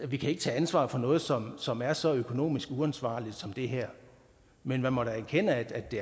vi kan ikke tage ansvar for noget som som er så økonomisk uansvarligt som det her men jeg må da erkende at det